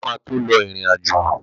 Bàbá máa tó lọ ìrìn-àjò